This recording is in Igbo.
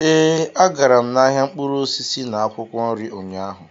Ee, agara m ahịa mkpụrụ osisi na akwụkwọ nri ụnyaahụ